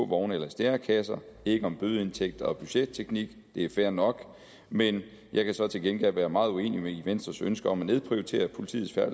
vogne eller stærekasser ikke om bødeindtægter og budgetteknik det er fair nok men jeg kan så til gengæld være meget uenig i venstres ønske om at nedprioritere politiets